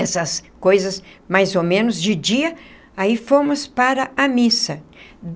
Essas coisas, mais ou menos, de dia, aí fomos para a missa.